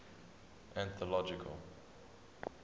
anthological